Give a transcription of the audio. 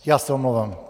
Já se omlouvám.